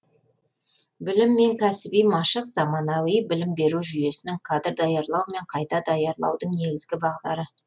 білім және кәсіби машық заманауи білім беру жүйесінің кадр даярлау мен қайта даярлаудың негізгі бағдары